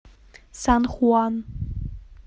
сан хуан